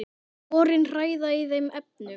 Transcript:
Sporin hræða í þeim efnum.